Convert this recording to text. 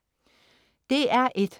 DR1: